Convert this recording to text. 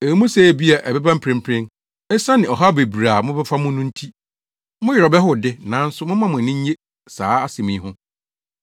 Ɛwɔ mu sɛ ebia ɛbɛba mprempren, esiane ɔhaw bebree a mobɛfa mu no nti, mo werɛ bɛhow de, nanso momma mo ani nnye saa asɛm yi ho.